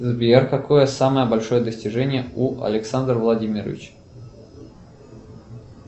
сбер какое самое большое достижение у александра владимировича